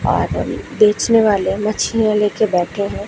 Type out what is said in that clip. बेचने वाले मछलीया लेके बैठे हैं।